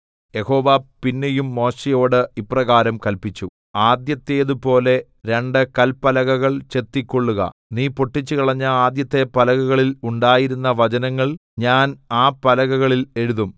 യഹോവ പിന്നെയും മോശെയോട് ഇപ്രകാരം കല്പിച്ചു ആദ്യത്തേതുപോലെ രണ്ട് കല്പലകൾ ചെത്തിക്കൊള്ളുക നീ പൊട്ടിച്ചുകളഞ്ഞ ആദ്യത്തെ പലകകളിൽ ഉണ്ടായിരുന്ന വചനങ്ങൾ ഞാൻ ആ പലകകളിൽ എഴുതും